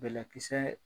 Bɛlɛkisɛ